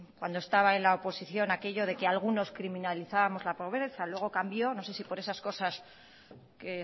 cuando estaba en la oposición aquello de que algunos criminalizábamos la pobreza luego cambió no sé si por esas cosas que